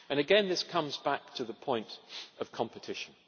Again, this comes back to the point of competition.